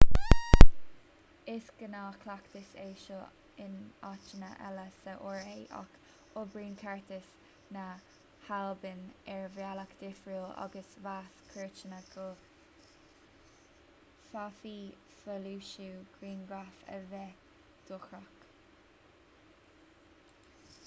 is gnáthchleachtas é seo in áiteanna eile sa ra ach oibríonn ceartas na halban ar bhealach difriúil agus mheas cúirteanna go bhféadfadh foilsiú grianghraf a bheith dochrach